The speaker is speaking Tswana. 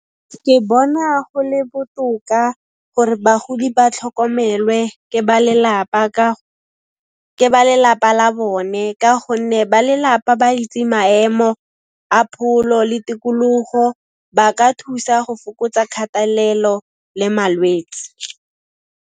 Ke bona go le botoka gore bagodi ba tlhokomelwe ke ba lelapa la bone ka gonne ba lelapa ba itse maemo a pholo le tikologo, ba ka thusa go fokotsa kgatelelo le malwetsi.